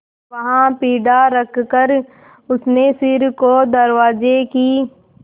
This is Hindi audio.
वहाँ पीढ़ा रखकर उसने सिर को दरवाजे की